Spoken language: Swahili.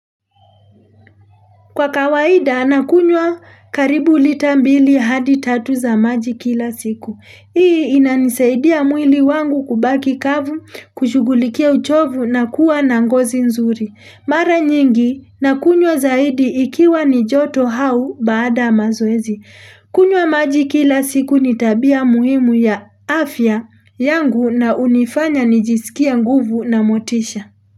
Kwa kawaida nakunywa karibu lita mbili hadi tatu za maji kila siku. Hii inanisaidia mwili wangu kubaki kavu kushugulikia uchovu na kuwa nangozi nzuri. Mara nyingi nakunywa zaidi ikiwa ni joto hau baada mazoezi. Kunywa maji kila siku nitabia muhimu ya afya yangu na unifanya nijisikia nguvu na motisha.